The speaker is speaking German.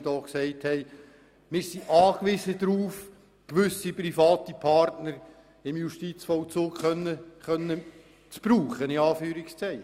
Wir sind darauf angewiesen, auf gewisse private Partner im Justizvollzug zurückgreifen zu können.